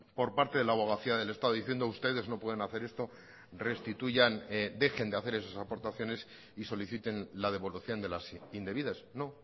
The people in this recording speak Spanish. por parte de la abogacía del estado diciendo ustedes no pueden hacer esto restituyan dejen de hacer esas aportaciones y soliciten la devolución de las indebidas no